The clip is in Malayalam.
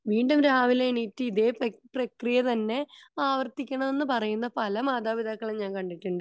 വീണ്ടും രാവിലെ എണീറ്റ ഇതേ പ്രക്രിയ തന്നെ അവർത്തിക്കണമെന്ന്ന് പറയണ പല മാതാപിതാക്കളെയും ഞാൻ കണ്ടിട്ടുണ്ട്